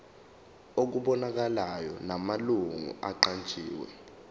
okubonakalayo namalungu aqanjiwe